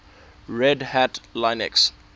red hat linux